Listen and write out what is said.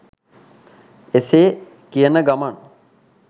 එසේ කියන ගමන්